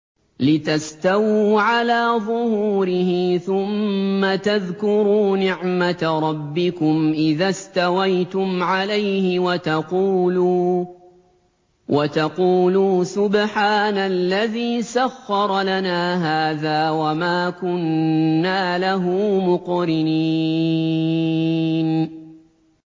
لِتَسْتَوُوا عَلَىٰ ظُهُورِهِ ثُمَّ تَذْكُرُوا نِعْمَةَ رَبِّكُمْ إِذَا اسْتَوَيْتُمْ عَلَيْهِ وَتَقُولُوا سُبْحَانَ الَّذِي سَخَّرَ لَنَا هَٰذَا وَمَا كُنَّا لَهُ مُقْرِنِينَ